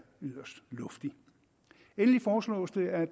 yderst luftig endelig foreslås det at